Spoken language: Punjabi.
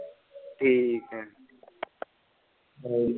ਠੀਕ ਏ।